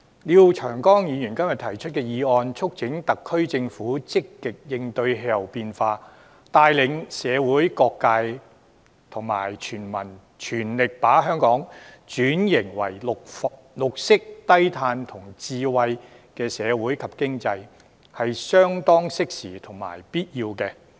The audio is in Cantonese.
廖長江議員今天提出的議案，促請特區政府積極應對氣候變化，帶領社會各界及全民全力把香港轉型為綠色低碳智慧型社會及經濟，這是相當適時及必要的。